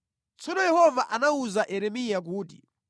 Tsono Yehova anawuza Yeremiya kuti: